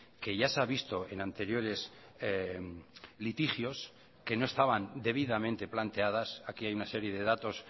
que ya se ha visto en anteriores litigios que no estaban debidamente planteadas aquí hay una serie de datos